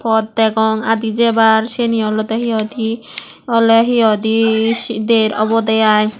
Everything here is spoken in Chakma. pot degong adi jebar syeni hi olode hoi di awle hi hoi di der obode i.